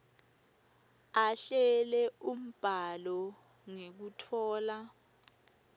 ahlele umbhalo ngekutfola